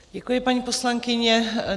Děkuji, paní poslankyně.